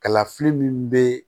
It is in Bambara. Kalafili min bɛ